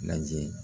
Lajɛ